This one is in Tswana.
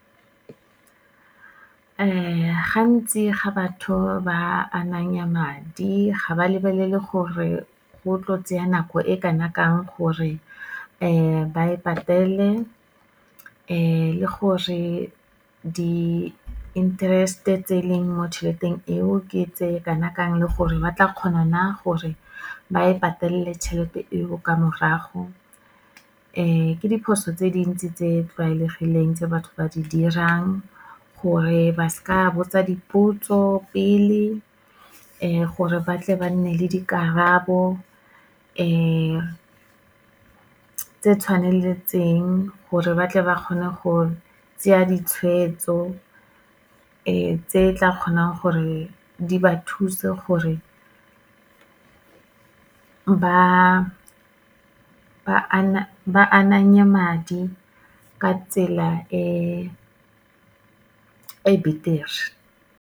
Gantsi ga batho ba ananya madi, ga ba lebelele gore go tlo tseya nako e kana kang gore ba e patele, le gore di-interest-e tse e leng mo tšheleteng eo ke tse kana kang, le gore ba tla kgona na gore ba e patelele tšhelete eo, ka morago. Ke diphoso tse dintsi tse di tlwaelegileng tse batho ba di dirang, gore ba seka ba botsa dipotso pele, gore batle ba nne le dikarabo, tse tshwaneletseng, gore batle ba kgone go tseya ditshwetso, tse tla kgonang gore di ba thuse gore ba ananye madi ka tsela e betere.